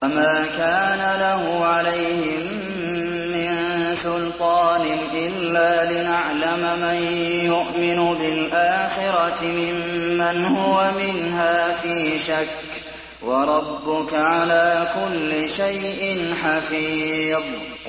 وَمَا كَانَ لَهُ عَلَيْهِم مِّن سُلْطَانٍ إِلَّا لِنَعْلَمَ مَن يُؤْمِنُ بِالْآخِرَةِ مِمَّنْ هُوَ مِنْهَا فِي شَكٍّ ۗ وَرَبُّكَ عَلَىٰ كُلِّ شَيْءٍ حَفِيظٌ